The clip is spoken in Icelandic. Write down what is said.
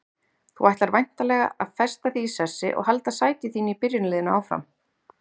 Þú ætlar væntanlega að festa þig í sessi og halda sæti þínu í byrjunarliðinu áfram?